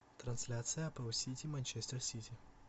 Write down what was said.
трансляция апл сити манчестер сити